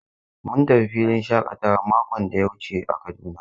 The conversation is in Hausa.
Mun tafi filin shakatawa makon da ya wuce a Kaduna.